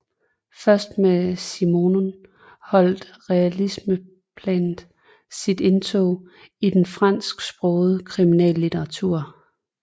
Først med Simenon holdt realismeplanet sit indtog i den fransksprogede kriminallitteratur